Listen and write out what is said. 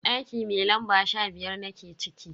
Daki mai lamba sha biyar nake ciki.